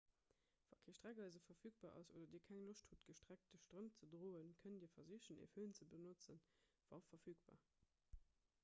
wa kee streckeise verfügbar ass oder dir keng loscht hutt gestreckt strëmp ze droen kënnt dir versichen e fön ze benotzen wa verfügbar